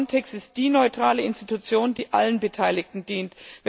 Frontex ist die neutrale Institution, die allen Beteiligten dient.